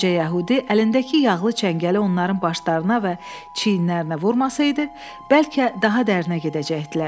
Qoca yəhudi əlindəki yağlı çəngəli onların başlarına və çiyinlərinə vurmasaydı, bəlkə daha dərinə gedəcəkdilər.